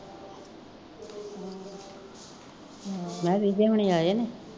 ਮਹਾਂ ਵਿਜੇ ਹੋਣੀ ਆਏ ਨੇ